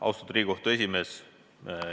Austatud Riigikohtu esimees!